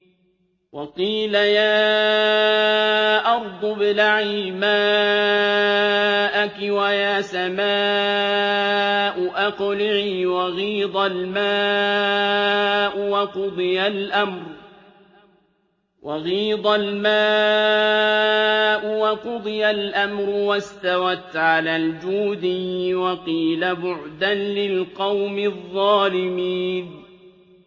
وَقِيلَ يَا أَرْضُ ابْلَعِي مَاءَكِ وَيَا سَمَاءُ أَقْلِعِي وَغِيضَ الْمَاءُ وَقُضِيَ الْأَمْرُ وَاسْتَوَتْ عَلَى الْجُودِيِّ ۖ وَقِيلَ بُعْدًا لِّلْقَوْمِ الظَّالِمِينَ